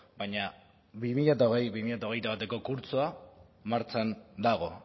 baina bi mila hogei bi mila hogeita bateko kurtsoa martxan dago